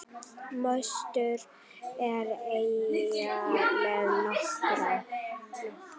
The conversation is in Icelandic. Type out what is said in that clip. Mostur er eyja við Noreg.